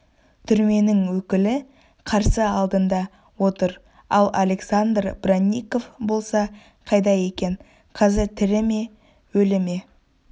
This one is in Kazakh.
түрменің өкілі қарсы алдында отыр ал александр бронников болса қайда екен қазір тірі ме өлі ме